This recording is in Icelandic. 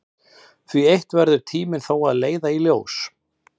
Það eitt verður tíminn þó að leiða í ljós.